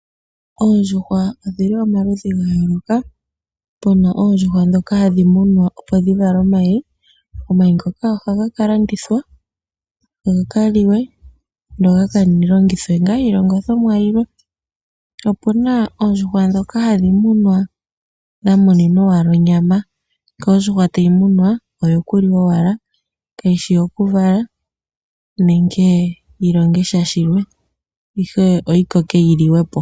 Oondjuhwa odhi li pamaludhi ga yooloka. Pu na oondjuhwa ndhoka hadhi munwa, opo dhi vale omayi. Omayi ngoka ohaga ka landithwa ga ka liwe noga ka longithwe ngaa iilongithomwa yilwe. Opu na oondjuhwa ndhoka hadhi munwa dha muninwa owala onyama. Nkene ondjuhwa tayi munwa oyokuliwa owala kayi shi yokuvala nenge yi longe sha shilwe, ihe oyi koke yi liwe po.